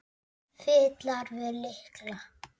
Fitlar við lykla.